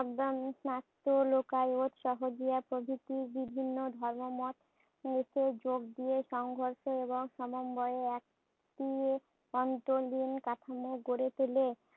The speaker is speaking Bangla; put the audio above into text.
লোকায়ত সহজিয়া প্রভৃতি বিভিন্ন ধর্মমত এতে যোগ দিয়ে সংঘর্ষ এবং সমন্বয়ে একটি অন্তলীন কাঠামো গড়ে তুলে।